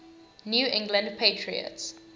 new england patriots